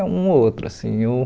É um ou outro, assim uh.